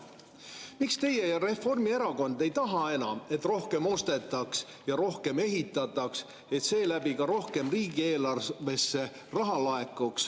Miks teie ja Reformierakond ei taha enam, et rohkem ostetaks ja rohkem ehitataks, et selle kaudu rohkem riigieelarvesse raha laekuks?